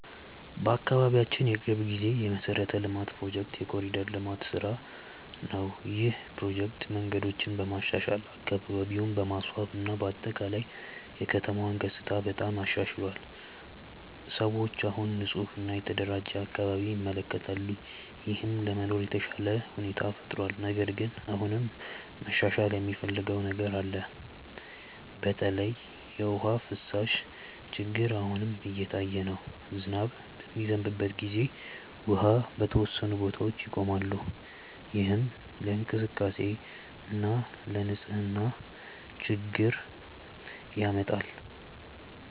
በአካባቢያችን የቅርብ ጊዜ የመሠረተ ልማት ፕሮጀክት የ“ኮሪደር ልማት” ስራ ነው። ይህ ፕሮጀክት መንገዶችን በማሻሻል፣ አካባቢን በማስዋብ እና በአጠቃላይ የከተማውን ገጽታ በጣም አሻሽሏል። ሰዎች አሁን ንፁህ እና የተደራጀ አካባቢ ይመለከታሉ፣ ይህም ለመኖር የተሻለ ሁኔታ ፈጥሯል። ነገር ግን አሁንም መሻሻል የሚያስፈልገው ነገር አለ። በተለይ የውሃ ፍሳሽ ችግር አሁንም እየታየ ነው። ዝናብ በሚዘንብበት ጊዜ ውሃ በተወሰኑ ቦታዎች ይቆማል፣ ይህም ለእንቅስቃሴ እና ለንፅህና ችግር ያመጣል።